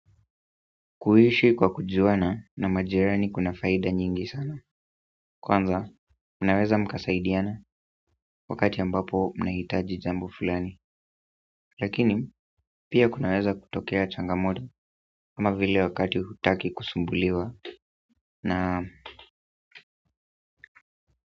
Kuishi kwa kujuana na majirani kuna faida nyingi sana kwanza, mnaweza mkasaidiana wakati ambapo mnahitaji jambo fulani lakini pia kunaeza kutokea changamoto ama vile wakati hutaki kusumbuliwa na.